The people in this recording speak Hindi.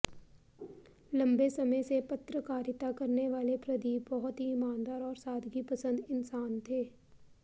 लंबे समय से पत्रकारिता करने वाले प्रदीप बहुत ही ईमानदार और सादगी पसंद इंसान थे